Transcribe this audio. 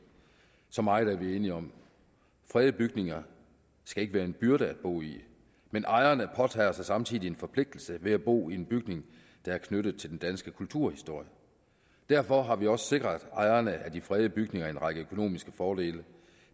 så meget er vi enige om fredede bygninger skal ikke være en byrde at bo i men ejerne påtager sig samtidig en forpligtelse ved at bo i en bygning der er knyttet til den danske kulturhistorie derfor har vi også sikret ejerne af de fredede bygninger en række økonomiske fordele